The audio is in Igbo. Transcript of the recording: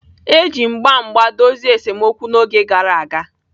E ji mgba mgba dozie esemokwu n'oge gara aga.